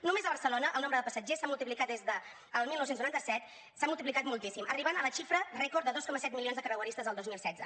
només a barcelona el nombre de passatgers s’ha multiplicat des del dinou noranta set s’ha multiplicat moltíssim i ha arribat a la xifra rècord de dos coma set milions de creueristes el dos mil setze